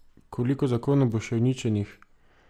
Koliko zakonov bo še uničenih?